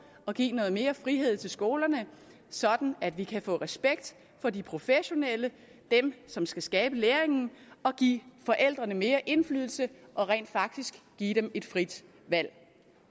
og give noget mere frihed til skolerne sådan at vi kan få respekt for de professionelle dem som skal skabe læringen og give forældrene mere indflydelse og rent faktisk give dem et frit valg